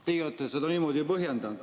Teie olete seda niimoodi põhjendanud.